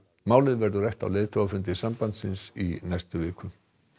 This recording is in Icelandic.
málið verði rætt á leiðtogafundi sambandsins í næstu viku